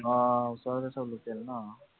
আহ আহ ওচৰতে সৱ local ন?